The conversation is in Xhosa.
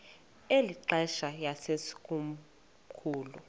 eli xesha yayisekomkhulu